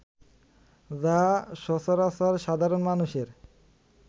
যাহা সচরাচর সাধারণ মানুষের